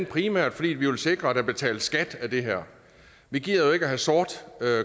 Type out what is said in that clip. primært fordi vi vil sikre at der betales skat af det her vi gider ikke at have sort